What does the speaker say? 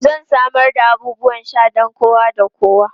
Zan samar da abubuwan sha don kowa da kowa.